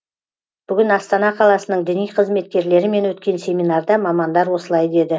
бүгін астана қаласының діни қызметкерлерімен өткен семинарда мамандар осылай деді